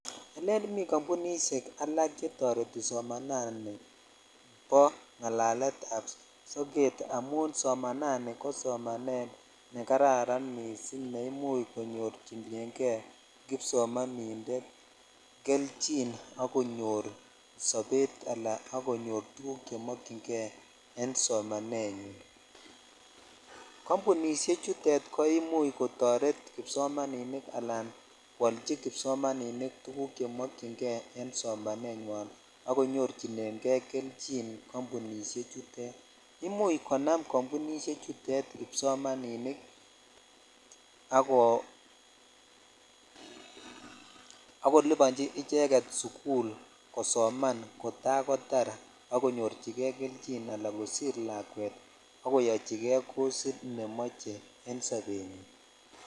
Elen mi kambunishek ak chetoreti somanani nibo ngalalet ab soket amun somanani ko somanet kararan missing ne imuch konyochinen kei kipsomaninik kelchin ak konyor sobet ala ak konyor kit nemokyin kei en somanenyin kambunishe chutet ko imuch kotoret kipsomaninik ala jwoichi kipsomaninik tuguk chemokyin kei esomanenywan ak konyorchinen kei kelchin kambunishe chutetvimuch konam kambunishe chutet kipsomaninik ako(puse) akolibochi icheket sukul kosoman kotakotar ak konyoryine kei kelchin ala kosir lokwet ak kochikei kosit nemoche en sobenywan.